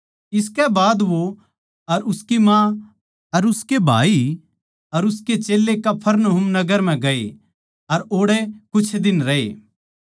इसकै बाद वो अर उसकी माँ अर उसके भाई अर उसके चेल्लें कफरनहूम नगर म्ह गए अर ओड़ै कुछ दिन रहे